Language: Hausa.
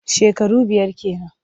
Shekaru biyar ke nan.